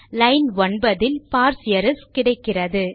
line 9 இல் parse errors கிடைக்கிறது